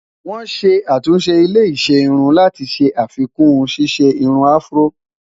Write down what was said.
wòn ṣé àtúnṣe ilé iṣé irún láti ṣé àfikún ṣiṣẹ irún afro